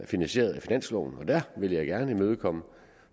finansieret af finansloven og der vil jeg gerne imødekomme